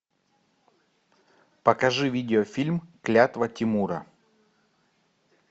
покажи видеофильм клятва тимура